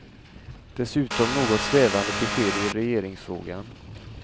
Dessutom något svävande besked i regeringsfrågan.